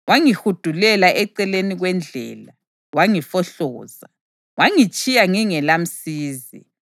wangihudulela eceleni kwendlela, wangifohloza, wangitshiya ngingelamsizi.